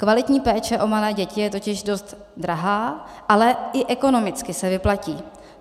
Kvalitní péče o malé děti je totiž dost drahá, ale i ekonomicky se vyplatí.